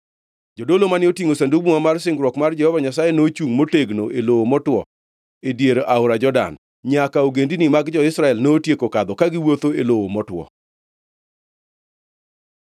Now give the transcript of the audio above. Jodolo mane otingʼo Sandug Muma mar singruok mar Jehova Nyasaye nochungʼ motegno e lowo motwo e dier aora Jordan, nyaka ogendini mag jo-Israel notieko kadho ka giwuotho e lowo motwo.